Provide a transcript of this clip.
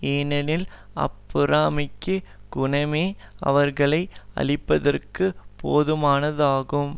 ஏனெனில் அப்பொறாமைக்கு குணமே அவர்களை அழிப்பதற்குப் போதுமானதாகும்